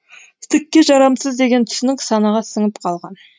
түкке жарамсыз деген түсінік санаға сіңіп қалған